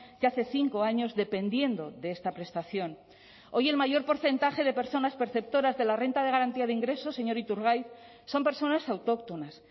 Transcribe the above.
de hace cinco años dependiendo de esta prestación hoy el mayor porcentaje de personas perceptoras de la renta de garantía de ingresos señor iturgaiz son personas autóctonas